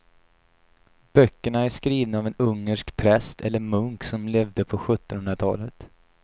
Böckerna är skrivna av en ungersk präst eller munk som levde på sjuttonhundratalet.